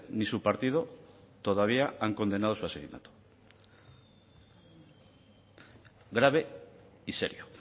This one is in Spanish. ni su partido todavía han condenado su asesinato grave y serio